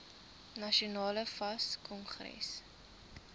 nasionale fas kongres